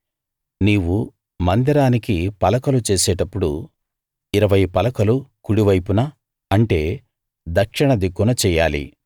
నీవు మందిరానికి పలకలు చేసేటప్పుడు ఇరవై పలకలు కుడి వైపున అంటే దక్షిణ దిక్కున చెయ్యాలి